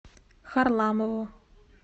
харламову